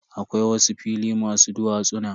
Akwai wasu fili masu duwatsuna.